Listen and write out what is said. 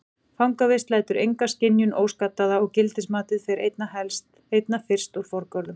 Fangavist lætur enga skynjun óskaddaða og gildismatið fer einna fyrst forgörðum.